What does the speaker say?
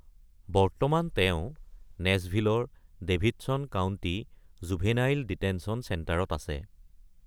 বৰ্তমান তেওঁ নেচভিলৰ ডেভিডচন কাউণ্টি জুভেনাইল ডিটেনচন চেণ্টাৰত আছে।